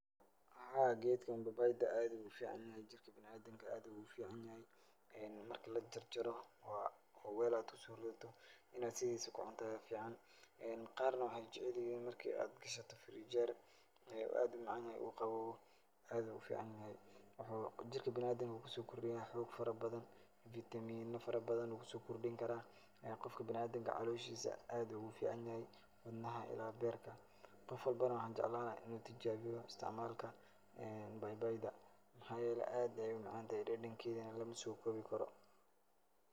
Haa geedka babayda aa uu u ficanyahay, jirka bina'adanka aad uu ugu ficanyahay. Marka lajarjaro oo weel aad ku soo ridato, in aad sidiisa ku cunto ayaa ficaan. Qaarna waxay jecelyihiin markii aad gashato firinjeer ee aad u macan yahay uu qaboobo aad ayaa u ficanyahay. Waxuu jirka bina'aadanka ku soo kordhiya xoog farabadan, vitamiino farabadan uu ku soo kordhinkaraa. Qofka bina'aadinka ah colooshiisa aad ugu ficanyahay. Wadnaha ilaa beerka. Qof walbana waxaan jeclaan lahaa in uu tijaabiyo istacmaalka ee baybayda. Maxaa yeelay aad baa u macantahay dhadhankeedana lama soo koobikaro.